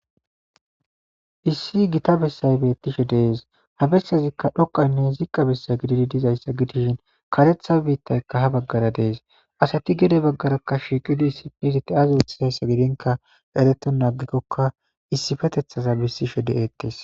Issi Gita besay beetishe de'es ha besazika dhokayne zika gididi dizaysa gidishin kareta biitayka ha bagara de'es asati gede bagara shiiqidi ay oothiza ginka eretena agikoka issipeteta besishe de'etes.